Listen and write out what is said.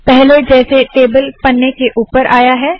पहले जैसे टेबल पन्ने के ऊपर आया है